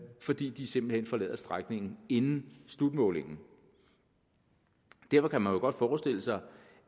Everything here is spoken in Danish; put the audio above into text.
fordi de simpelt hen forlader strækningen inden slutmålingen derfor kan man jo godt forestille sig